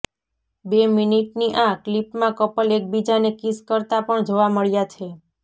બે મીનિટની આ ક્લિપમાં કપલ એકબીજાને કિસ કરતાં પણ જોવા મળ્યા છે